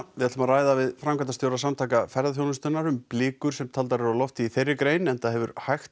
við ætlum að ræða við framkvæmdastjóra Samtaka ferðaþjónustunnar um blikur sem taldar eru á lofti í þeirri grein enda hefur hægt